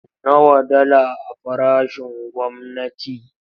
Nawa dala a farashin gwamnati?